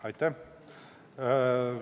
Aitäh!